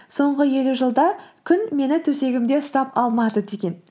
соңғы елу жылда күн мені төсегімде ұстап алмады деген